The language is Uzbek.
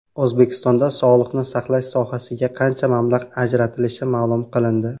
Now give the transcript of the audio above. O‘zbekistonda sog‘liqni saqlash sohasiga qancha mablag‘ ajratilishi ma’lum qilindi.